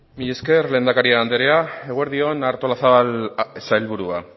mila esker lehendakari andrea eguerdi on artolazabal sailburua